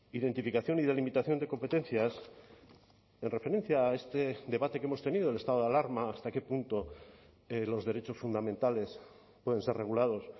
identificación y delimitación de competencias en referencia a este debate que hemos tenido el estado de alarma hasta qué punto los derechos fundamentales pueden ser regulados